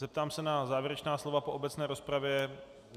Zeptám se na závěrečná slova po obecné rozpravě.